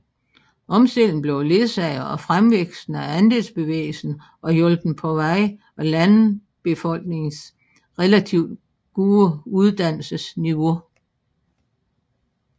Omstillingen blev ledsaget af fremvæksten af andelsbevægelsen og hjulpet på vej af landbefolkningens relativt gode uddannelsesniveau